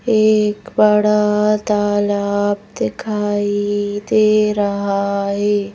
एक बड़ा तालाब दिखाई दे रहा है।